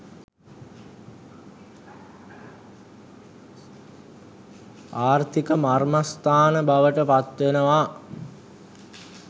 ආර්ථික මර්මස්ථාන බවට පත්වෙනවා.